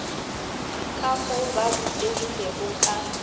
ka mo ba bopegilego ka